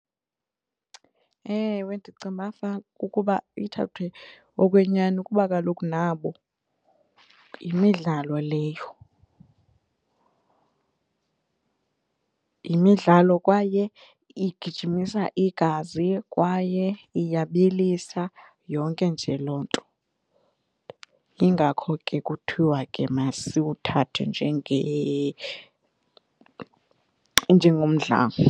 Ewe, ndicinga uba ukuba ithathwe okwenyani kuba kaloku nabo yimidlalo leyo, yimidlalo kwaye igijimisa igazi kwaye iyabilisa yonke nje loo nto, yingakho ke kuthiwa ke masiwuthathe njengomdlalo.